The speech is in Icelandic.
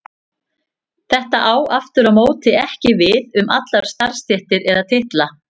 Þetta á aftur á móti ekki við um allar starfstéttir eða titla.